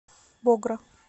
богра